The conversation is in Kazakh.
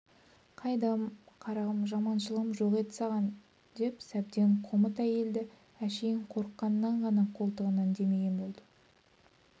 қайдам қарағым жаманшылығым жоқ еді саған деп сәбден қомыт әйелді әшейін қорыққанынан ғана қолтығынан демеген болды